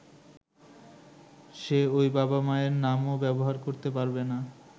সে ঐ বাবা-মায়ের নামও ব্যবহার করতে পারবেনা।